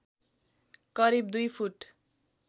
करिब दुई फुट